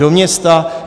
Do města.